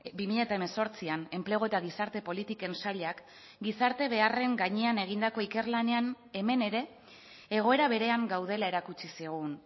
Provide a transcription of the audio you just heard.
bi mila hemezortzian enplegu eta gizarte politiken sailak gizarte beharren gainean egindako ikerlanean hemen ere egoera berean gaudela erakutsi zigun